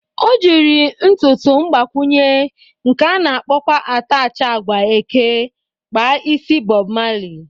O jiri ntụtụ mgbakwụnye, nke a na-akpọkwa atachị agwa eke kpa isi Bọb Mali